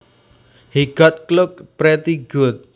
He got clocked pretty good